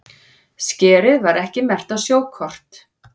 Skerið var ekki merkt á sjókort